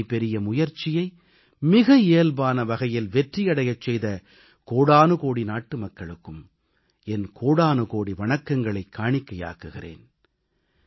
இத்தனை பெரிய முயற்சியை மிக இயல்பான வகையில் வெற்றியடையச் செய்த கோடானுகோடி நாட்டுமக்களுக்கும் என் கோடானுகோடி வணக்கங்களைக் காணிக்கையாக்குகிறேன்